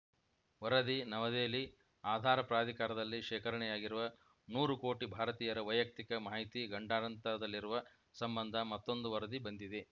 ವರದಿ ನವದೆಹಲಿ ಆಧಾರ್‌ ಪ್ರಾಧಿಕಾರದಲ್ಲಿ ಶೇಖರಣೆಯಾಗಿರುವ ನೂರು ಕೋಟಿ ಭಾರತೀಯರ ವೈಯಕ್ತಿಕ ಮಾಹಿತಿ ಗಂಡಾಂತರದಲ್ಲಿರುವ ಸಂಬಂಧ ಮತ್ತೊಂದು ವರದಿ ಬಂದಿದೆ